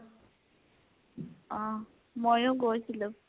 অহ, মইয়ো গৈছিলো